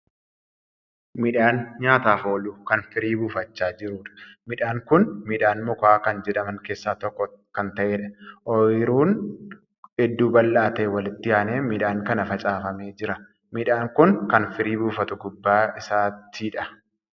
Midhaan nyaataaf oolu Kan firii buufachaa jiruudha. midhaan Kuni midhaan mukaa Kan jedhaman keessaa tokko Kan ta'eedha. ooyruun hedduu bal'aa ta'e walitti aanee midhaan kana facaafamee Jira. midhaan kuni Kan firii buufatu gubbaa isaattidha.